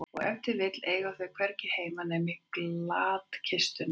Og ef til vill eiga þau hvergi heima nema í glatkistunni.